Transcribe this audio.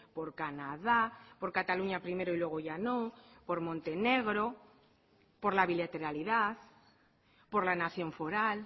por canadá por cataluña primero y luego ya no por montenegro por la bilateralidad por la nación foral